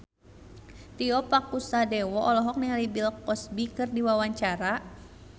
Tio Pakusadewo olohok ningali Bill Cosby keur diwawancara